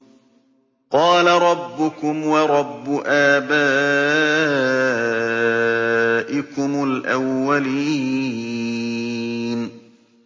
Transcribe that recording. قَالَ رَبُّكُمْ وَرَبُّ آبَائِكُمُ الْأَوَّلِينَ